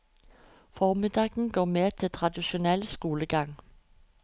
Formiddagen går med til tradisjonell skolegang.